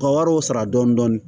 Ka wariw sara dɔɔni